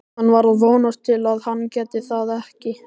Hann var að vonast til að hann gæti það ekki.